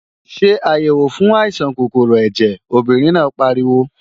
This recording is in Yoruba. Ṣé àyèwò fún àìsàn kòkòrò ẹ̀jẹ̀, obìnrin náà pariwo!